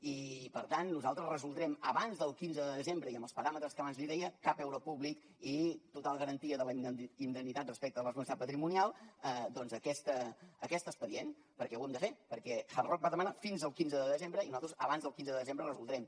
i per tant nosaltres resoldrem abans del quinze de desembre i amb els paràmetres que abans li deia cap euro públic i total garantia de la indemnitat respecte a la responsabilitat patrimonial doncs aquest expedient perquè ho hem de fer perquè hard rock va demanar fins al quinze de desembre i nosaltres abans del quinze de desembre ho resoldrem